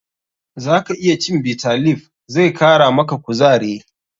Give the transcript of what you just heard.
Zaka iya cin Bitter leaf, zai kara maka kuzare.